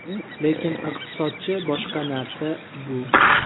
Lekin iqtisodchi boshqa narsa bu.